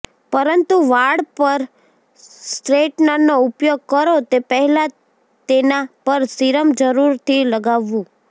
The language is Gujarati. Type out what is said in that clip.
પરંતુ વાળ પર સ્ટ્રેટનરનો ઉપયોગ કરો તે પહેલાં તેના પર સિરમ જરૂરથી લગાવવું